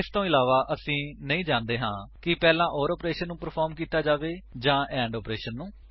ਇਸਦੇ ਇਲਾਵਾ ਅਸੀ ਨਹੀਂ ਜਾਣਦੇ ਹਾਂ ਕਿ ਪਹਿਲਾਂ ਓਰ ਆਪਰੇਸ਼ਨ ਨੂੰ ਪਰਫ਼ਾਰ੍ਮ ਕੀਤਾ ਜਾਵੇਗਾ ਜਾਂ ਐਂਡ ਆਪਰੇਸ਼ਨ ਨੂੰ